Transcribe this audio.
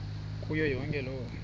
kuyo yonke loo